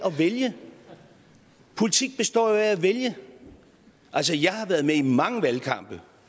vælge politik består jo i at vælge altså jeg har været med i mange valgkampe